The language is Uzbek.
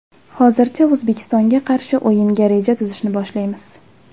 Hozircha O‘zbekistonga qarshi o‘yinga reja tuzishni boshlaymiz.